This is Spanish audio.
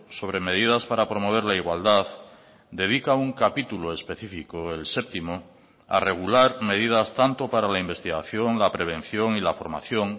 sobre medidas para promover la igualdad dedica un capítulo específico el séptimo a regular medidas tanto para la investigación la prevención y la formación